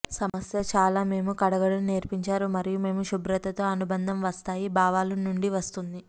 సమస్య చాలా మేము కడగడం నేర్పించారు మరియు మేము శుభ్రత తో అనుబంధం వస్తాయి భావాలు నుండి వస్తుంది